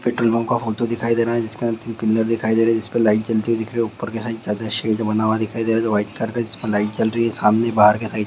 petrol pump का photo दिखाई दे रहा है जिसका अंतिम पिलर दिखाई दे रहा है जिस पे लाइट जलती हुई दिख रहे है ऊपर के साइड चद्दर शेड बना हुआ दिखाई दे रहा है व्हाइट कार है जिसमें लाइट जल रही है सामने बाहर का साइड --